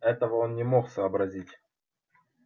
этого он не мог сообразить